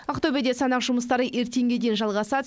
ақтөбеде санақ жұмыстары ертеңге дейін жалғасады